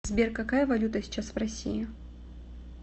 сбер какая валюта сейчас в россии